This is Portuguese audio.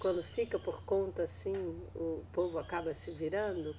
Quando fica por conta assim, o povo acaba se virando?